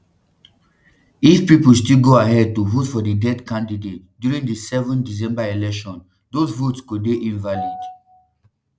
if pipo still go ahead to vote for di dead candidate during di seven december election those votes go dey invalid